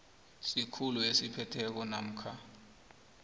sikhulu esiphetheko namkha